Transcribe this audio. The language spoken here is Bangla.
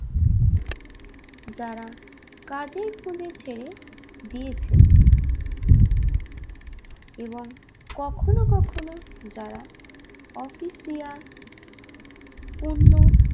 যারা কাজে ভুলে ছেড়ে দিয়েছে এবং কখনো কখনো যারা অফিসিয়া পূর্ণ